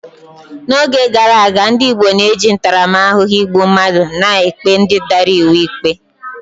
N'oge gara aga, ndị Igbo na-eji ntaramahụhụ igbu mmadụ na-ekpe ndị dara iwu ikpe